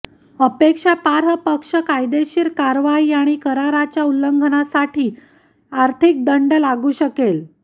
आक्षेपार्ह पक्ष कायदेशीर कारवाई आणि कराराच्या उल्लंघनासाठी आर्थिक दंड लागू शकेल